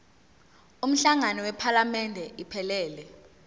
umhlangano wephalamende iphelele